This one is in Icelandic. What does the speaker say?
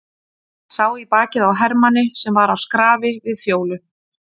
Sá í bakið á hermanni sem var á skrafi við Fjólu.